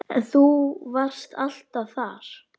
En þú varst alltaf þar.